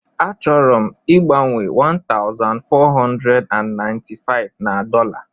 A chọrọ m igbanwe ₦1495 na dọla